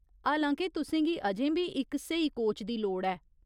हालां के तुसें गी अजें बी इक स्हेई कोच दी लोड़ ऐ।